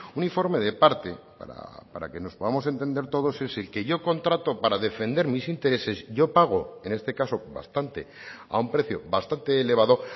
un informe de parte para que nos podamos entender todos es el que yo contrato para defender mis intereses yo pago en este caso bastante a un precio bastante elevado